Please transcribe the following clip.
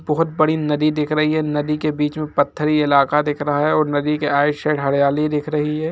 बहुत बड़ी नदी दिख रही है नदी के बीच में पथरी इलाका दिख रहा है और नदी के आउट साइड हरियाली दिख रही है।